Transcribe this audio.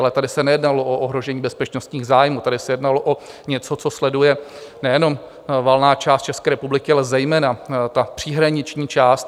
Ale tady se nejednalo o ohrožení bezpečnostních zájmů, tady se jednalo o něco, co sleduje nejenom valná část České republiky, ale zejména ta příhraniční část.